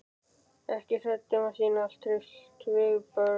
Ekki hrædd um að sýna tryllt viðbrögð.